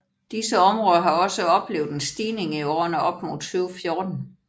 Disse områder har også oplevet en stigning i årene op til 2014